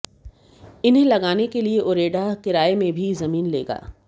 इन्हें लगाने के लिए उरेडा किराये में भी जमीन लेगा